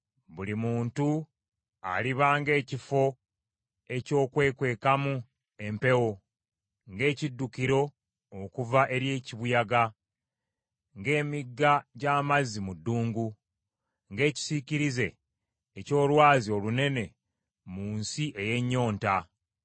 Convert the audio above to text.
Buli muntu aliba ng’ekifo eky’okwekwekamu empewo, ng’ekiddukiro okuva eri kibuyaga, ng’emigga gy’amazzi mu ddungu, ng’ekisiikirize eky’olwazi olunene mu nsi ey’ennyonta.